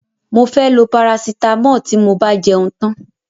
Mo fẹ́ lọ parasitámọ̀ tí mo bá jẹun tán.